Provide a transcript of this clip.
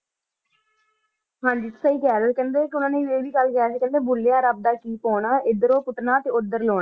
ਹਾਂਜੀ ਸਹੀ ਕਹ ਰਹੀ ਊ ਕੇਹ੍ਨ੍ਡੇ ਕੇ ਓਹਨਾਂ ਨੇ ਆ ਵੀ ਕੇਹ੍ਨ੍ਡੇ ਭੁਲ੍ਲ੍ਯਾ ਰਾਬ ਦਾ ਕੀ ਪਾਉਣਾ ਏਡ੍ਰੋੰ ਪੂਤਨਾ ਤੇ ਓਦਰ ਲਾਉਣਾ